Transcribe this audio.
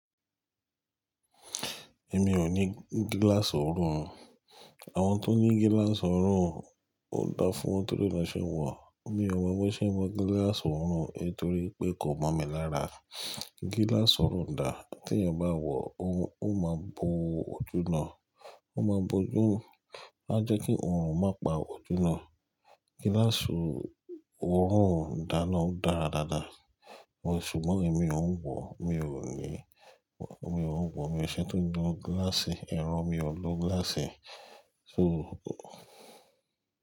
Èmi ò ní gíláàsì ọ̀rùn. Àwọn tó ní gíláàsì ọ̀rùn ó dá fún wọn torí wọn ṣe ń wọ̀. Èmi ò mọ̀ bi won ṣe ń wọ gíláàsì ọ̀rùn, torí pé kò mọ̀ mi lára. Gíláàsì ọ̀rùn dà, tí ènìyàn bá wọ̀ ó máa bo ojú náà. Ó ma bo ojú, á jẹ́ kí ọ̀rùn má pa ojú náà. Gíláàsì ọ̀rùn dáná dáradára, ṣùgbọ́n èmi ò ń wọ̀, mi ò ní, mi ò ń wọ̀, mi ò ṣe tó jẹ gíláàsì, ìran mi ò lọ gíláàsì. So.